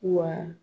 Wa